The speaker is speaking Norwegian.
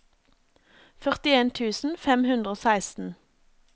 førtien tusen fem hundre og seksten